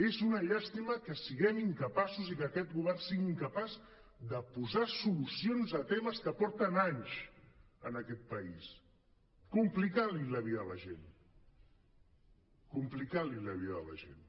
és una llàstima que siguem incapaços i que aquest govern sigui incapaç de posar solucions a temes que porten anys en aquest país complicant li la vida a la gent complicant li la vida a la gent